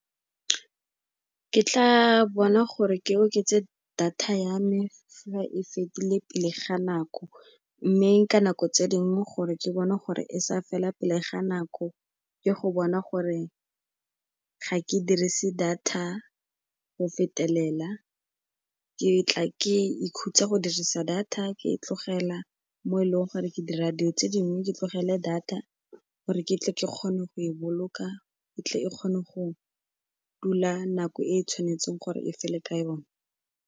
Ke tla bona gore ke oketse data ya me fa e fedile pele ga nako, mme ka nako tse dingwe gore ke bone gore e sa fela pele ga nako, ke go bona gore ga ke dirise data go fetelela, ke tla ke ikhutsa go dirisa data ke e tlogela mo e leng gore ke dira dilo tse dingwe, ke tlogele data gore ke tle ke kgone go e boloka, e tle e kgone go dula nako e e tshwanetseng gore e fele ka yone.